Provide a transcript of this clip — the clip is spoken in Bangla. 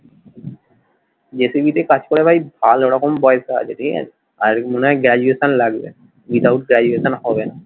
জি টিভি তে কাজ করলে ভাই ভালো রকম পয়সা আছে ঠিক আছে, আর মনে হয় graduation লাগবে without graduation হবে না।